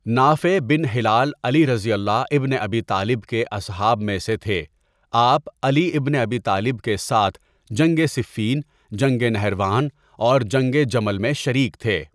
نافع bin Hilal Ali ibn Abi Talib کے اصحاب میں سے تھے آپ علی ابن ابی طالب کے ساتھ جنگٍ صفین، جنگٍ نہروان اور جنگٍ جمل میں شریک تھے.